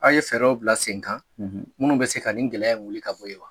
A ye fɛɛrɛw bila sen kan minnu bɛ se ka nin gɛlɛya wuli ka bɔ yen wa?